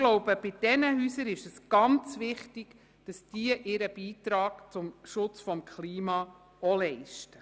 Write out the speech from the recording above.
Bei diesen Häusern ist es ganz wichtig, dass auch sie ihren Beitrag zum Schutz des Klimas leisten.